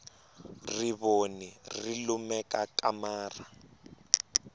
rivoni ri lumekakamara